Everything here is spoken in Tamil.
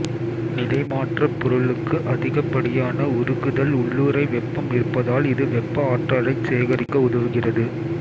நிலை மாற்றப் பொருளுக்கு அதிகப் படியான உருகுதல் உள்ளுறை வெப்பம் இருப்பதால் இது வெப்ப ஆற்றலைச் சேகரிக்க உதவுகிறது